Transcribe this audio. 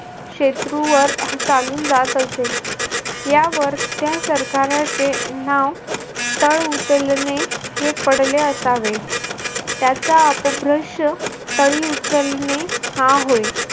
शत्रूवर चालून जात असे. यावर त्या सरकाराचे नाव तळ उचलणे हे पडले असावे. त्याचा अप भ्रंश तळी उचलणे हा होय.